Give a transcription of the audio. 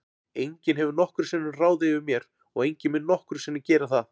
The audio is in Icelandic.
Enginn hefur nokkru sinni ráðið yfir mér og enginn mun nokkru sinni gera það.